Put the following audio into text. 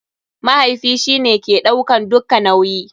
Mahaifi shi ne ke ɗaukan dukka nauyi.